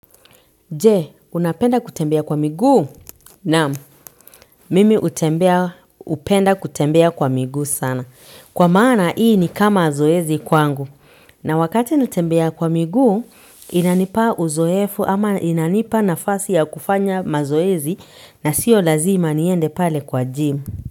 Je, unapenda kutembea kwa miguu? Naam, mimi hutembea, hupenda kutembea kwa miguu sana. Kwa maana hii ni kama zoezi kwangu na wakati natembea kwa miguu inanipa uzoefu ama inanipa nafasi ya kufanya mazoezi na siyo lazima niende pale kwa gym.